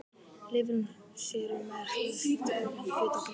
Lifrin sér um efnaskipti kolvetna, fitu og prótína.